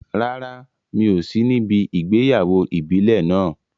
Rárá, mi ò sí níbi ìgbéyàwó ìbílẹ̀ náà.